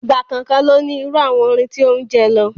Ìgbà kọ̀ọ̀kan ló ní irú àwọn orin tí ó ń jẹ lọ.